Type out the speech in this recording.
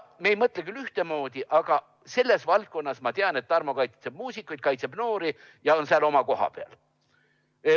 Me ei mõtle küll ühtemoodi, aga selles valdkonnas ma tean, et Tarmo kaitseb muusikuid, kaitseb noori ja on seal oma koha peal.